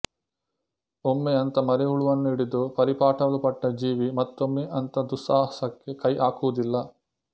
ಒಮ್ಮೆ ಅಂಥ ಮರಿಹುಳುವನ್ನು ಹಿಡಿದು ಪರಿಪಾಟಲು ಪಟ್ಟ ಜೀವಿ ಮತ್ತೊಮ್ಮೆ ಅಂಥ ದುಸ್ಸಾಹಸಕ್ಕೆ ಕೈ ಹಾಕುವುದಿಲ್ಲ